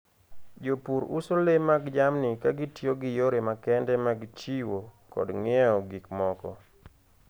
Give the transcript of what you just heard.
Jopur uso le mag jamni ka gitiyo gi yore makende mag chiwo kod ng'iewo gik moko.